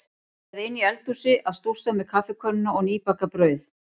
Eða inni í eldhúsi að stússa með kaffikönnuna og nýbakað brauð.